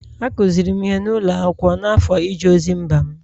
Akụziri m ihe n’ụlọ akwụkwọ n’afọ ije ozi mba m